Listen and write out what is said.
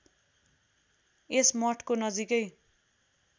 यस मठको नजिकै